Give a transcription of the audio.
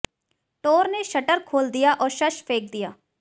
टोर ने शटर खोल दिया और सश फेंक दिया